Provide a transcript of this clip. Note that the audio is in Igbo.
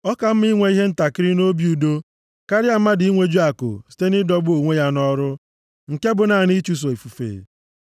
Ọ ka mma inwe ihe ntakịrị na obi udo, karịa mmadụ inweju akụ site nʼịdọgbu onwe ya nʼọrụ, nke bụ naanị ịchụso ifufe.